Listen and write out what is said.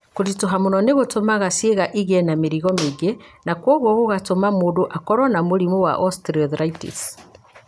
Kũritũha mũno nĩ gũtũmaga ciĩga igĩe na mĩrigo mĩingĩ, na kwoguo gũgatũma mũndũ akorũo na mũrimũ wa osteoarthritis.